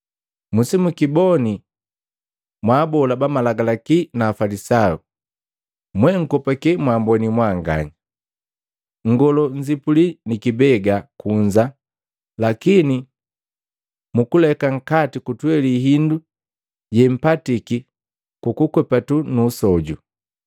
“Musimukiboni mwaabola bamalagalaki na Afalisayu! Mwenkopake mwaamboni mwanganya! Nngoloo nzipuli ni kibega kunza lakini mukuleka nkati kutweli hindu yempatiki kukukwepatu nuusoju.